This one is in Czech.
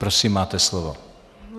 Prosím, máte slovo.